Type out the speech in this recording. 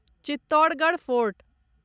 Chittorgarh fort